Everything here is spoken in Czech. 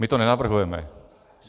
My to nenavrhujeme.